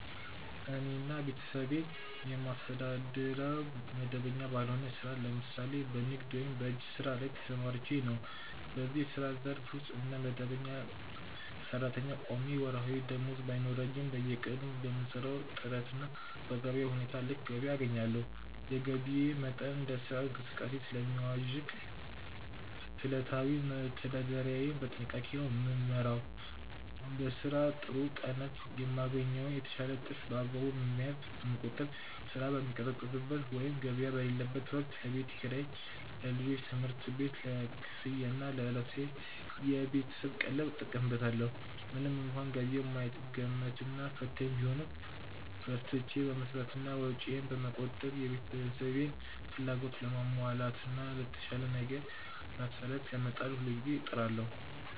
እኔና ቤተሰቤን የማስተዳድረው መደበኛ ባልሆነ ሥራ (ለምሳሌ በንግድ ወይም በእጅ ሥራ) ላይ ተሰማርቼ ነው። በዚህ የሥራ ዘርፍ ውስጥ እንደ መደበኛ ሠራተኛ ቋሚ ወርሃዊ ደመወዝ ባይኖረኝም፣ በየቀኑ በምሠራው ጥረትና በገበያው ሁኔታ ልክ ገቢ አገኛለሁ። የገቢዬ መጠን እንደ ሥራው እንቅስቃሴ ስለሚዋዥቅ፣ ዕለታዊ መተዳደሪያዬን በጥንቃቄ ነው የምመራው። በሥራ ጥሩ ቀናት የማገኘውን የተሻለ ትርፍ በአግባቡ በመያዝ (በመቆጠብ)፣ ሥራ በሚቀዘቅዝበት ወይም ገበያ በሌለበት ወቅት ለቤት ኪራይ፣ ለልጆች ትምህርት ቤት ክፍያና ለዕለታዊ የቤተሰብ ቀለብ እጠቀምበታለሁ። ምንም እንኳን ገቢው የማይገመትና ፈታኝ ቢሆንም፣ በርትቼ በመሥራትና ወጪዬን በመቆጠብ የቤተሰቤን ፍላጎት ለማሟላትና ለተሻለ ነገ መሠረት ለመጣል ሁልጊዜ እጥራለሁ።